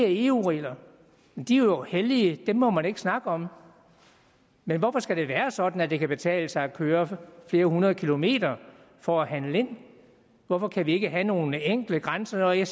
eu reglerne og de er jo hellige dem må man ikke snakke om men hvorfor skal det være sådan at det kan betale sig at køre flere hundrede kilometer for at handle ind hvorfor kan vi ikke have nogle enkle grænseregler